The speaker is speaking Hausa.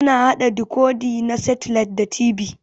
Ana haɗa dikodi na setilait da TV.